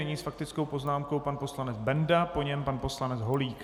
Nyní s faktickou poznámkou pan poslanec Benda, po něm pan poslanec Holík.